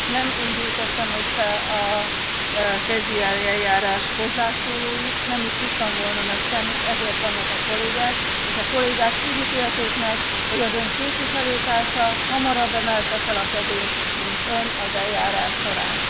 Nem én gyűjtöttem össze a catch the eye eljárás hozzászólóit, nem is tudtam volna megtenni, ezért vannak a kollégák. És a kollégák úgy ítélték meg, hogy az Ön képviselőtársa hamarabb emelte fel a kezét, mint Ön az eljárás során.